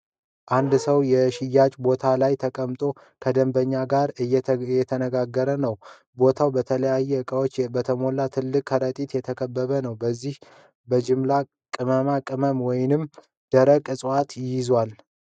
አንድ ሰው የሽያጭ ቦታ ላይ ተቀምጦ ከደንበኛ ጋር እየተነጋገረ ነው። ቦታው በተለያዩ ዕቃዎች በተሞሉ ትላልቅ ከረጢቶች የተከበበ ነው፤ እነዚህም በጅምላ ቅመማ ቅመም ወይም ደረቅ እፅዋት ይዘዋል ።